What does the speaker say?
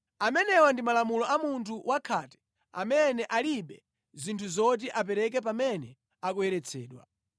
“Amenewa ndi malamulo a munthu wakhate amene alibe zinthu zoti apereke pamene akuyeretsedwa.